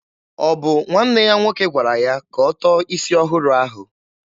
Ọ bụ nwanne ya nwoke gwara ya ka ọ tọọ isi ọhụrụ ahụ?